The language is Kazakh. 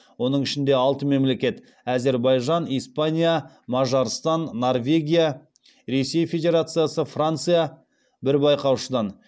оның ішінде алты мемлекет бір байқаушыдан